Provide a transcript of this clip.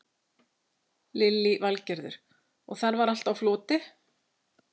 Lillý Valgerður: Og þar var allt á floti?